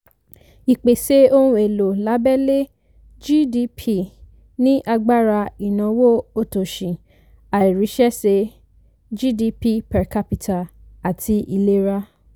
ìpesè ohun èlò lábẹ́lé (gdp) ní agbára ìnáwó òtòṣì àìríṣẹ́ṣe gdp/cápítà àti ìlera